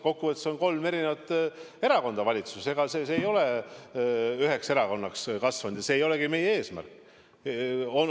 Kokkuvõttes on kolm erakonda valitsuses, ega nad ei ole üheks erakonnaks kasvanud ja see ei olegi meie eesmärk.